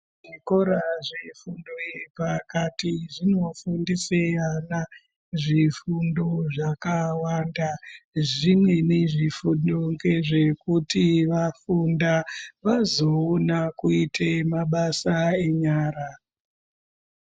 Zvikora zvefundo yepakati zvinofundisae ana zvifundo zvakawanda zvimweni zvifundo ngezvekuti vafunda vazoona kuite mabasa enyara